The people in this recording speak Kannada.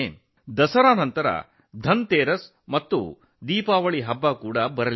ದಸರಾ ನಂತರ ಧನ್ತೆರೇಸ್ ಮತ್ತು ದೀಪಾವಳಿ ಹಬ್ಬಗಳು ಬರುತ್ತವೆ